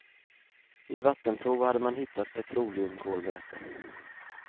I vattenprov hade man hittat petroleumkolväte.